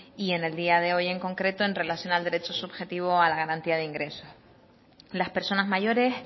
y en el día de hoy en concreto en relación al derecho subjetivo a la garantía de ingresos las personas mayores